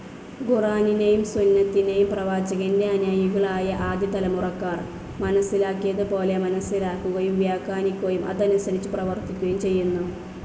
ഖുറാനിനെയും സുന്നതിനെയും പ്രവാചകൻ്റെ അനുയായികളായ ആദ്യതലമുറക്കാർ മനസ്സിലാക്കിയതുപോലെ മനസ്സിലാക്കുകയും വ്യാഖ്യാനിക്കുകയും അതനുസരിച്ച് പ്രവർത്തിക്കുകയും ചെയ്യുന്നു.